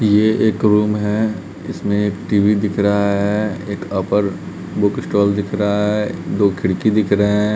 यह एक रूम है इसमें टी_वी दिख रहा है। एक ऑफर बुक स्टॉल दिख रहा है दो खिड़की दिख रहे हैं।